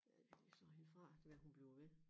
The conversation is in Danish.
Ja jeg slår hende fra det kan være hun bliver ved